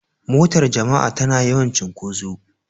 Motar jama'a tana yawan cunkoso.